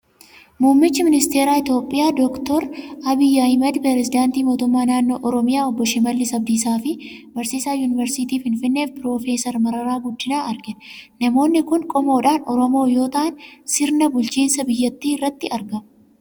Muummicha Ministeera Itoophiyaa Dookter Abiyyi Ahimed, piresidaantii mootummaa naannoo Oromiyaa Obbo Shimallis Abdiisaa fi barsiiisaa Yuuniversitii Finfinnee Piroofeser Mararaa Guddinaa argina. Namoonni kun qomoodhaan Oromoo yoo ta'an, Sirna bulchiinsa biyyattii irratti argamu.